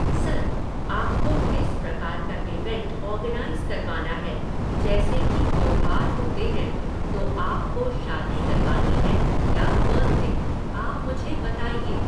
Sir! आपको किस प्रकार का ईवेंट ऑर्गनाइज़ करवाना है, जैसे कि त्यौहार होते हैं, तो आपको शादी करवानी है या बर्थडे, आप मुझे बताइए।